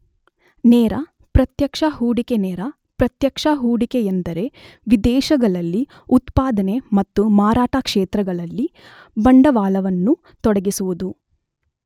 ನೇರ, ಪ್ರತ್ಯಕ್ಷ ಹೂಡಿಕೆನೇರ, ಪ್ರತ್ಯಕ್ಷ ಹೂಡಿಕೆ ಎಂದರೆ ವಿದೇಶಗಳಲ್ಲಿ ಉತ್ಪಾದನೆ ಮತ್ತು ಮಾರಾಟ ಕ್ಷೇತ್ರಗಳಲ್ಲಿ ಬಂಡವಾಳವನ್ನು ತೊಡಗಿಸುವುದು.